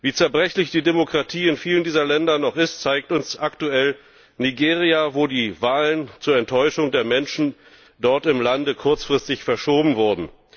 Wie zerbrechlich die Demokratie in vielen dieser Länder noch ist, zeigt uns aktuell Nigeria, wo die Wahlen zur Enttäuschung der Menschen dort im Lande kurzfristig verschoben wurden.